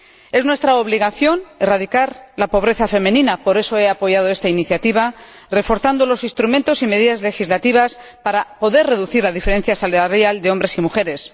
Es nuestra obligación erradicar la pobreza femenina —por eso he apoyado esta iniciativa—, reforzando los instrumentos y las medidas legislativas para poder reducir la diferencia salarial entre hombres y mujeres.